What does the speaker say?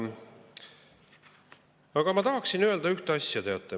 Aga ma tahaksin öelda ühte asja.